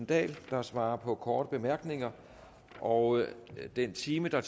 dahl der svarer på korte bemærkninger og den time der